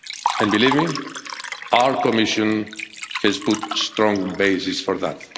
And believe me, our Commission has put a strong basis for